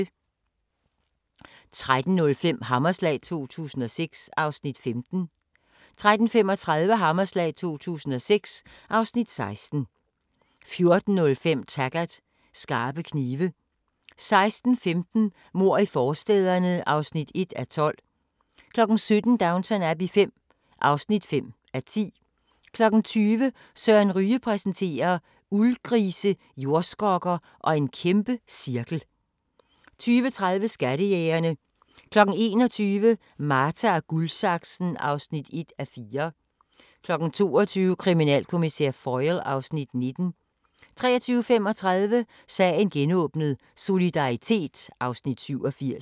13:05: Hammerslag 2006 (Afs. 15) 13:35: Hammerslag 2006 (Afs. 16) 14:05: Taggart: Skarpe knive 16:15: Mord i forstæderne (1:12) 17:00: Downton Abbey V (5:10) 20:00: Søren Ryge præsenterer: Uldgrise, jordskokker og en kæmpecirkel 20:30: Skattejægerne 21:00: Marta & Guldsaksen (1:4) 22:00: Kriminalkommissær Foyle (Afs. 19) 23:35: Sagen genåbnet: Solidaritet (Afs. 87)